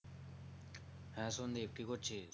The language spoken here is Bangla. হ্যাঁ সন্দীপ কি করছিস?